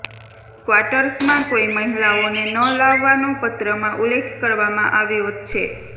ક્વાટર્સમાં કોઈ મહિલાઓને ન લાવવાનો પત્રમાં ઉલ્લેખ કરવામાં આવ્યો ચછે